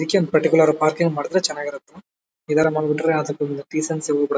ಅದಿಕ್ಕೆ ಅಂತ particular parking ಮಾಡಿದ್ರೆ ಚೆನ್ನಾಗ್ ಇರುತ್ತೆ ಇದರ ಮಾಡಿಬಿಟ್ರೆ ಅದ್ರ ದೊಂದು ಡೀಸೆನ್ಸಿ ಹೋಗ್ಬಿಡುತ್ತೆ.